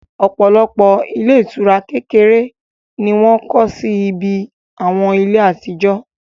òpòlopò ilé ìtura kekere ni wọ́n kọ́ sí ibi àwọn ilé àtijó